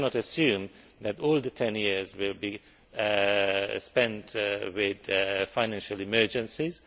We cannot assume that all the 10 years will be spent amidst financial emergencies.